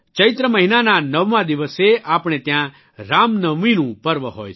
ચૈત્ર મહિનાના નવમા દિવસે આપણે ત્યાં રામનવમીનું પર્વ હોય છે